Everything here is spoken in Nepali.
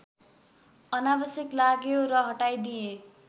अनावश्यक लाग्यो र हटाइदिए